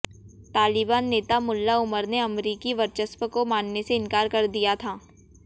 तालिबान नेता मुल्ला उमर ने अमरीकी वर्चस्व को मानने से इंकार कर दिया था